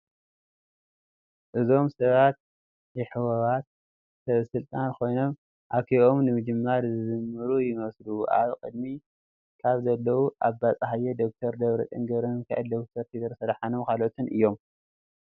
እዞም ሰባት ይ ሕወሓት ሰበ ስልጣን ኮይኖም አኬባኦም ንምጅማር ዝዝምሩ ይመስሉ፡፡ አብ ቅድሚት ካብ ዘለዉ፡- አባይ ፀሃየ፣ ደ/ር ደብረፅዮን ገ/ሚካኤል፣ ደ/ር ቴድሮስ አድሓኖምን ካልኦትን እዮም፡፡